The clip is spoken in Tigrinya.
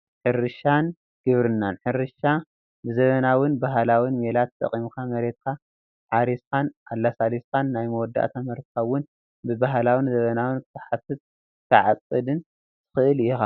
ሕርሻን ግብርናን፡- ሕርሻ ብዘበናውን ባህላውን ሜላ ተጠቒምካ መሬትካ ሓሪስኻን ኣለሳሊስካን ናይ መወዳእታ ምህርትኻ ውን ብባህላውን ዘበናውን ክትሓፍስን ክትዓድፅን ትኽእል ኢኻ፡፡